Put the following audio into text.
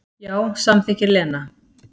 Já, samþykkir Lena.